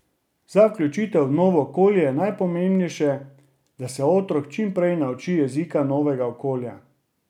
Za vključitev v novo okolje je najpomembnejše, da se otrok čim prej nauči jezika novega okolja.